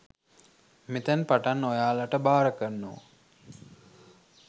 මෙතැන් පටන් ඔයාලට භාර කරනවා